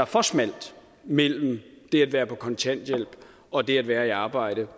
for smalt mellem det at være på kontanthjælp og det at være i arbejde